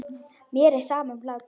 Mér er sama um hlátur.